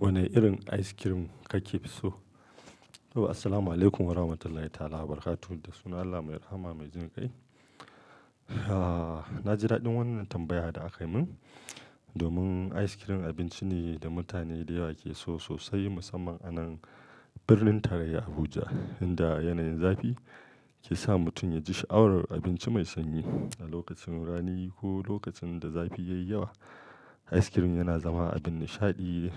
Wane irin ice cream kake so? To, assalamualaikum warahmatullahi ta'ala wabarakatuh da suna Allah mai rahama mai jin kai. Ahhh, na ji daɗin wannan tambaya da aka yi min. Domin ice cream abinci ne da mutane da yawa ke so sosai musamman a nan birnin tarayya Abuja, inda yanayin zafi ke sa mutum ya ji sha'awar abinci mai sanyi. A lokacin rani ko lokacin da zafi ya yi yawa, ice cream yana zama abin nishaɗi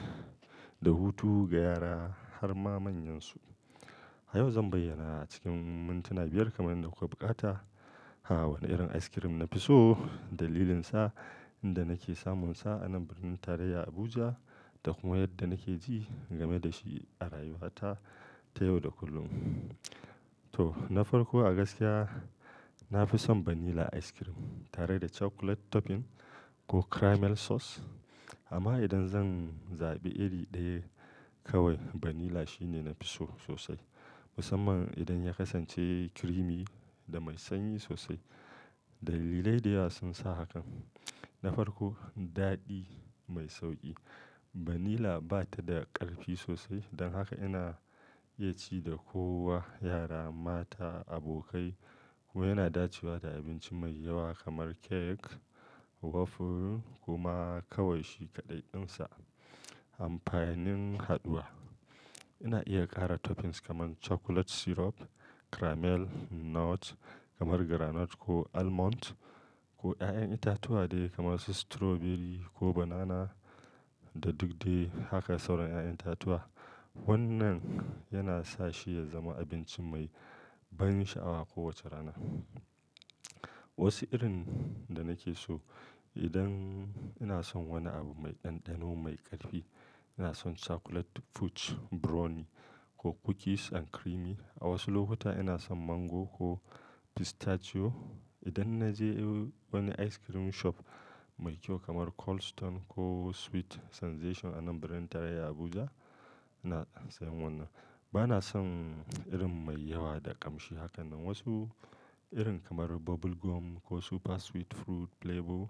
da hutu ga yara har ma manyansu. A yau zan bayyana cikin mintuna biyar kamar yadda kuka buƙata, wane irin ice cream na fi so, dalilinsa, inda nake samunsa a nan birnin tarayya Abuja, da kuma yadda nake ji game da shi a rayuwata ta yau da kullum. To, na farko a gaskiya, na fi son vanilla ice cream tare da chocolate topping ko caramel sauce. Amma idan zan zaɓi iri ɗaya kawai, vanilla shine nafi so sosai. Musamman idan ya kasance creamy da mai sanyi sosai. Dalilai da yawa sun sa hakan. Na farko, daɗi mai sauƙi. Vanilla ba ta da ƙarfi sosai don haka ana iya ci da kowa, yara, mata, abokai ko yana dacewa da abinci mai yawa kamar cake, waffle kuma kawai shi kaɗai ɗinsa. Amfanin haɗuwa. Ina iya ƙara toppings kamar chocolate syrup, caramel, nuts kamar granite ko almond ko ƴaƴan itatuwa dai kamar su strawberry ko banana da duk dai haka sauran ƴaƴan itatuwa. Wannan yana sa shi ya zama abinci mai ban sha'awa kowace rana. Wasu irin da nake so idan ina son wani abu mai ɗanɗano mai ƙarfi, ina son chocolate fudge brownie ko cookies and creamy. A wasu lokuta ina son mango ko pistachio. Idan na je wani ice cream shop mai kyau kamar Cold Stone ko Sweet Sensation a nan birnin tarayya Abuja, ina sayan wannan. Ba na son irin mai yawa da ƙamshi hakanan. Wasu irin kamar bubble gum ko super sweet fruit flavor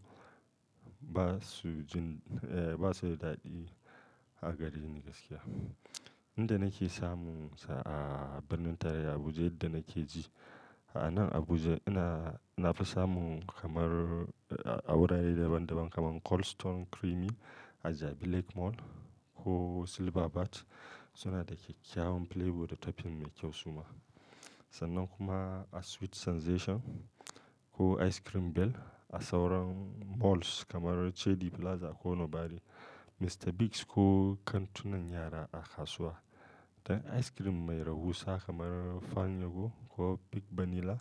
ba su jin-- eh, ba su da daɗi a gareni gaskiya. Inda nake samunsa a birnin tarayya Abuja, inda nake ji. A nan Abuja ina-- nafi samun kamar a wurare daban-daban kamar Cold Stone Creamy a Jabi Lake Mall ko Silverbird. Suna da kyakkyawan flavor da topping mai kyau suma. Sannan kuma a Sweet Sensation ko Ice Cream Bell a sauran malls kamar Chedi Plaza ko Nobari, Mr. Biggs ko kantunan yara a kasuwa. Da ice cream mai rahusa kamar Fanyego ko Big Vanilla.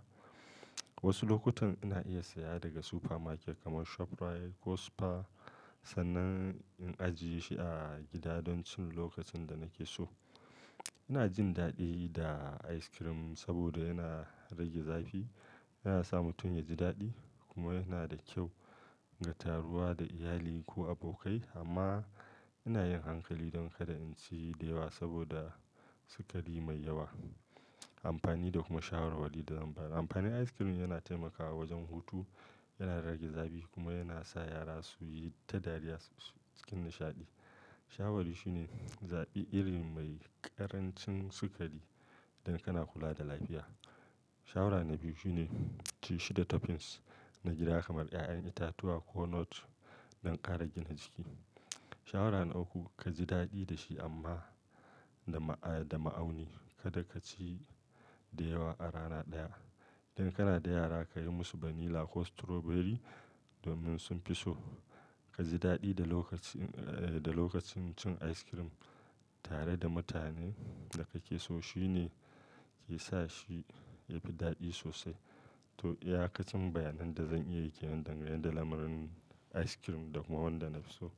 Wasu lokutan ina iya saya daga supermarket kamar ShopRite ko Spa sannan in ajiye shi a gida don cin lokacin da nake so. Ina jin daɗi da ice cream saboda yana rage zafi, yana sa mutum ya ji daɗi kuma yana da kyau ga taruwa da iyali ko abokai. Amma ina yin hankali don kada in ci da yawa saboda sukari mai yawa. Amfani da kuma shawarwari da zan ba. Amfanin ice cream yana taimakawa wajen hutu, yana rage zafi kuma yana sa yara su yi ta dariya cikin nishaɗi. Shawari shine zaɓi iri mai ƙarancin sukari don kana kula da lafiya. Shawara na biyu shine ci shi da toppings na gida kamar ƴaƴan itatuwa ko nut don ƙara gina jiki. Shawara na uku kaji daɗi da shi amma da ma-- eh, da ma'auni. Kada ka ci da yawa a rana ɗaya. Don kana da yara ka yi musu vanilla ko strawberry domin sun fi so. Kaji daɗi da lokacin, eh, da lokacin cin ice cream tare da mutanen da kake so. Shi ne ke sa shi ya fi daɗi sosai. To, yaƙacin bayanan da zan iya kiran dangane da lamarin ice cream da kuma wanda nafi so.